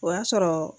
O y'a sɔrɔ